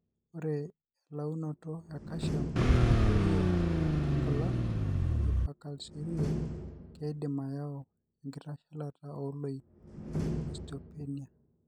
Ore elaunoto ecalcium nadooyo toonkulak (hypercalciuria) keidim ayau enkitashalata ooloik (osteopenia).